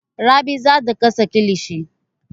Rabi za ta gasa kilishi.